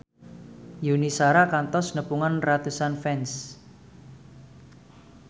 Yuni Shara kantos nepungan ratusan fans